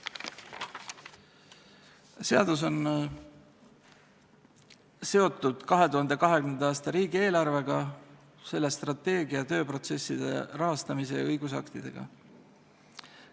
Seadus on seotud 2020. aasta riigieelarvega, selle strateegia ja selle rahastamiskavaga, sealhulgas riigieelarve koostamise tööprotsessiga ja seda reguleerivate õigusaktidega.